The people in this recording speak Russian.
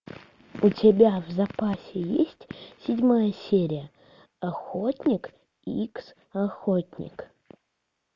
у тебя в запасе есть седьмая серия охотник икс охотник